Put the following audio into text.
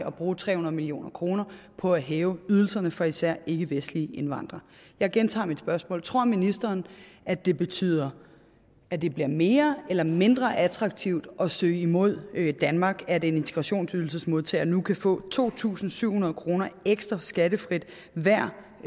at bruge tre hundrede million kroner på at hæve ydelserne for især ikkevestlige indvandrere jeg gentager mit spørgsmål tror ministeren at det betyder at det bliver mere eller mindre attraktivt at søge imod danmark at en integrationsydelsesmodtager nu kan få to tusind syv hundrede kroner ekstra skattefrit hver